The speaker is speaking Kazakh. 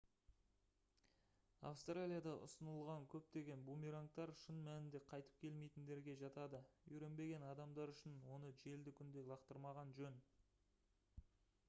австралияда ұсынылған көптеген бумерангтар шын мәнінде қйтып келмейтіндерге жатады үйренбеген адамдар үшін оны желді күнде лақтырмаған жөн